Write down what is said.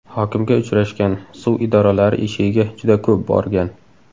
Hokimga uchrashgan, suv idoralari eshigiga juda ko‘p borgan.